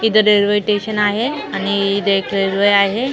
इथं railway station आहे आणि इथे एक रेल्वे आहे.